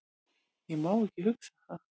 Ég má ekki hugsa það.